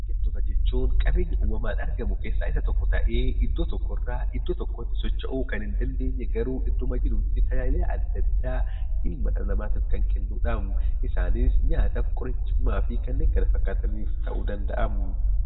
Biqiltoota jechuun qabeenya uumamaan argamu keessaa isa tokko ta'ee, iddoo tokkorraa iddoo tokkotti socho'uu kan hin dandeenye garuu idduma jirutti tajaajila adda addaa dhala namaatiif kan kennudha. Isaanis nyaataa fi kanneen kana fakkaataniif ta'uu danda'a.